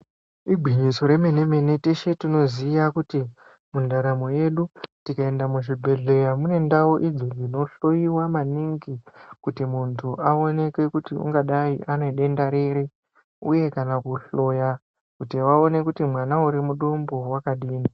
Igwinyiso rememene teshe tinoziye kuti muntaramo yedu tikaende muzvibhedhlera mune ndau idzo dzinohloyiwa maningi kuti muntu aoneke kuti ungadai une denda riri uye kana kuhloya kuti vaone kuti mwana uri mudumbu wakadini.